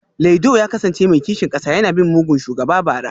Laido ya kasance mai kishin kasa yana bin mugun shugaba bara